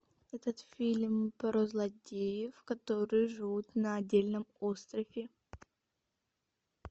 этот фильм про злодеев которые живут на отдельном острове